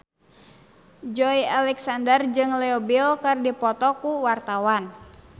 Joey Alexander jeung Leo Bill keur dipoto ku wartawan